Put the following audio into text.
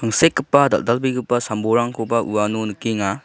sekgipa dal·dalbegipa sam-bolrangko uano nikenga.